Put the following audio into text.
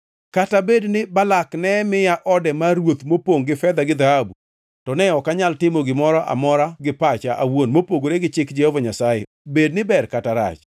‘Kata bed ni Balak ne miya ode mar ruoth mopongʼ gi fedha gi dhahabu, to ne ok anyal timo gimoro amora gi pacha awuon mopogore gi chik Jehova Nyasaye bed ni ber kata rach?’